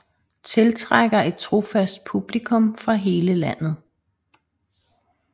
Tiltrækker et trofast publikum fra hele landet